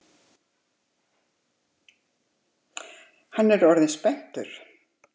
Hann er orðinn spenntur.